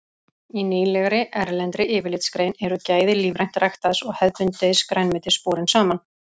Í nýlegri erlendri yfirlitsgrein eru gæði lífrænt ræktaðs og hefðbundins grænmetis borin saman.